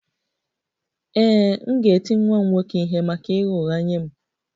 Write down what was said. Ee, m ga-eti nwa m nwoke ihe maka ịgha ụgha nye m